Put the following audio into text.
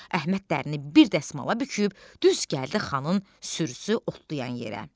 Əhməd dərini bir dəsmala büküb, düz gəldi xanın sürüsü otlayan yerə.